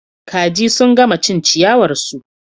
Kaji sun gama cin ciyawar su